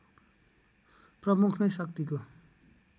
प्रमुख नै शक्तिको